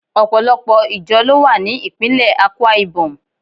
Opolopo ijo lowa ni ipinle Akwaibom